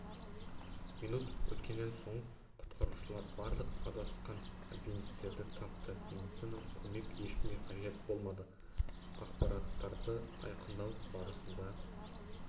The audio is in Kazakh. минут өткеннен соң құтқарушылар барлық адасқан альпинистерді тапты медициналық көмек ешкімге қажет болмады ақпараттарды айқындау барысында